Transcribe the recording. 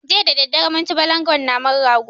Jiya dadadare mun ci balangon naman rago